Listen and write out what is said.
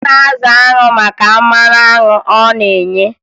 A na-azụ anwụ maka mmanụ anwụ ọ na-enye